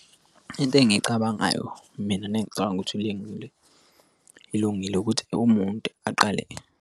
Into engiyicabangayo mina nengicabanga ukuthi ilungile ukuthi umuntu aqale.